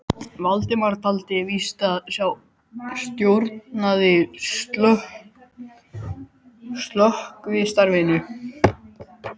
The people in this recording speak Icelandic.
Valdimar taldi víst að sá stjórnaði slökkvistarfinu.